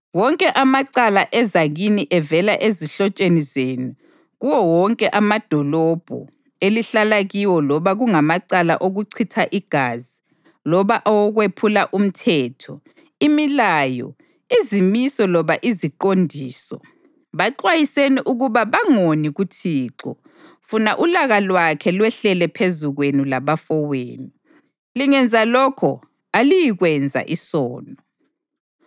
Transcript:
Wonke amacala eza kini evela ezihlotsheni zenu kuwo wonke amadolobho elihlala kiwo loba kungamacala okuchitha igazi loba awokwephula umthetho, imilayo, izimiso loba iziqondiso, baxwayiseni ukuba bangoni kuThixo, funa ulaka lwakhe lwehlele phezu kwenu labafowenu. Lingenza lokho aliyikwenza isono.